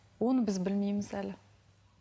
оны біз білмейміз әлі